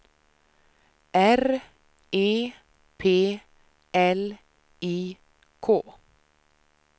R E P L I K